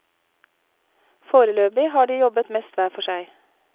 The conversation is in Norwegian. Foreløpig har de jobbet mest hver for seg.